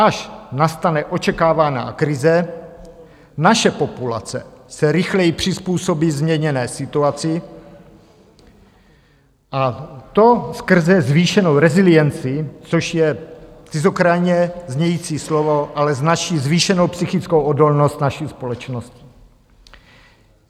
Až nastane očekávaná krize, naše populace se rychleji přizpůsobí změněné situaci, a to skrze zvýšenou resilienci, což je cizokrajně znějící slovo, ale značí zvýšenou psychickou odolnost naší společnosti.